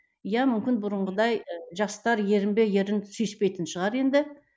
иә мүмкін бұрынғыдай жастар ерін бе ерін сүйіспейтін шығар енді